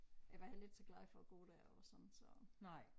Jeg var heller ikke så glad for at gå der og sådan så